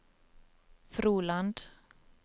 Froland